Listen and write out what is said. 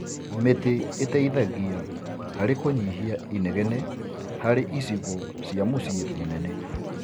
Mĩtĩ ĩteithagia harĩ kũnyihia inegene harĩ icigo cia mũciĩ mũnene.